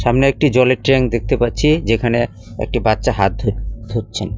সামনে একটি জলের ট্যাঙ্ক দেখতে পাচ্ছি যেখানে একটি বাচ্চা হাত ধু ধুচ্ছেন।